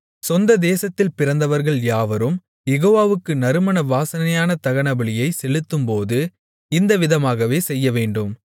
சொந்ததேசத்தில் பிறந்தவர்கள் யாவரும் யெகோவாவுக்கு நறுமண வாசனையான தகனபலியைச் செலுத்தும்போது இந்த விதமாகவே செய்யவேண்டும்